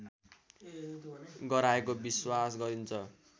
गराएको विश्वास गरिन्छ